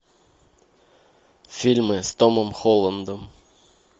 фильмы с томом холландом